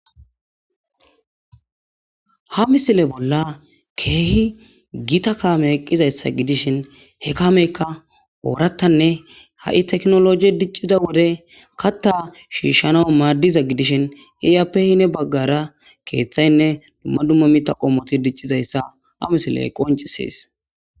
Ha misile bolla kehi Gita kame gidishin he kameyka oratane ha'ii tekinoloje wode katha shishana madiza gididi gidishin iyape ya bagara kethane duma duma mithay dic'izaysa ha misiley qonc'ises